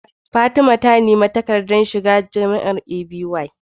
Fatima ta nemi takaddar shiga jamiar A.B Y